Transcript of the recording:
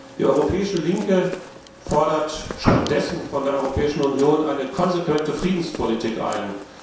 Die Europäische Linke fordert stattdessen von der Europäischen Union eine konsequente Friedenspolitik ein.